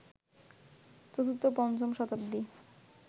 চতুর্থ পঞ্চম শতাব্দী